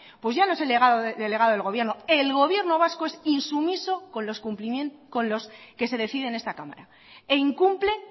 pues ya no es el delegado del gobierno el gobierno vasco es insumiso con lo que se decide en esta cámara e incumple